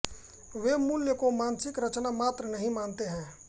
वे मूल्य को मानसिक रचना मात्र नहीं मानते हैं